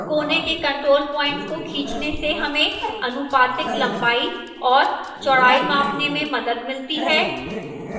कोने के control points को खींचने से हमें अनुपातिक लंबाई और चौड़ाई मापने में मदद मिलती है